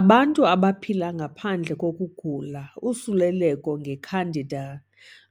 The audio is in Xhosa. Abantu abaphila ngaphandle kokugula, usuleleko nge-candida